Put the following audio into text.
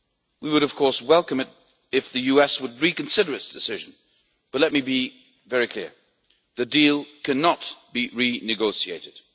We would, of course, welcome it if the US would reconsider its decision, but let me be very clear the deal cannot be renegotiated.